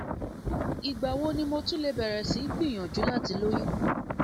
ìgbà wo ni mo tún lè bẹrẹ sí í gbìyànjú láti lóyún